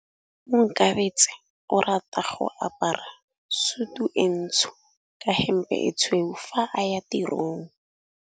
Onkabetse o rata go apara sutu e ntsho ka hempe e tshweu fa a ya tirong.